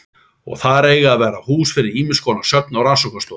Og þar eiga að verða hús fyrir ýmiskonar söfn og rannsóknarstofur.